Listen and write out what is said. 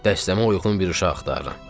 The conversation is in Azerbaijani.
Dəstəmə uyğun bir uşaq axtarıram.